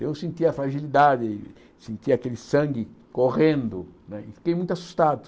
Eu senti a fragilidade, senti aquele sangue correndo né e fiquei muito assustado.